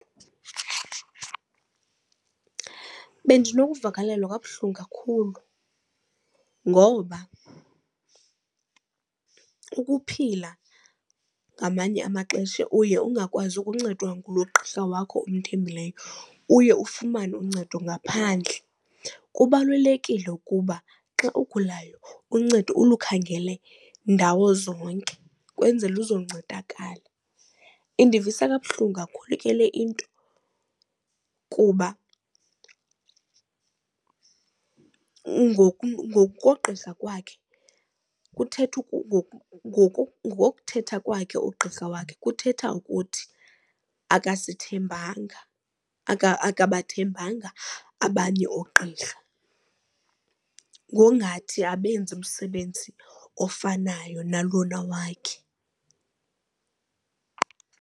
Bendinokuvakalelwa kabuhlungu kakhulu ngoba ukuphila ngamanye amaxesha uye ungakwazi ukuncedwa ngulo gqirha wakho umthembileyo uye ufumane uncedo ngaphandle. Kubalulekile ukuba xa ugulayo uncedo ulukhangele ndawo zonke kwenzele uzoncedakala. Indivisa kabuhlungu kakhulu ke le into kuba ngokogqirha kwakhe kuthetha ngokuthetha kwakhe ugqirha wakhe kuthetha ukuthi akasithembanga, akabathembanga abanye oogqirha ngongathi abenzi umsebenzi ofanayo nalona wakhe.